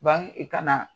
i kana